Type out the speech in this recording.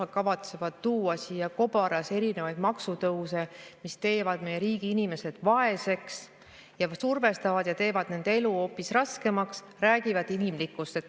Nad kavatsevad tuua siia kobaras erinevaid maksutõuse, mis teevad meie riigi inimesed vaeseks, ja survestavad ja teevad nende elu hoopis raskemaks.